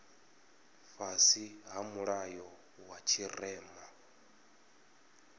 fhasi ha mulayo wa tshirema